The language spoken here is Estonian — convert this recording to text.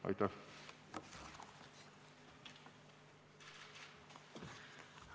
Aitäh!